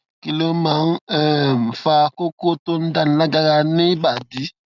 kí ló máa ń um fa koko tó ń dáni lágara ni ibadi